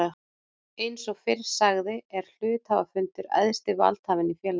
Eins og fyrr sagði er hluthafafundur æðsti valdhafinn í félaginu.